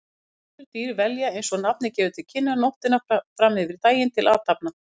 Næturdýr velja, eins og nafnið gefur til kynna, nóttina fram yfir daginn til athafna.